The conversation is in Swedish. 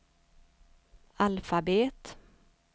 alfabet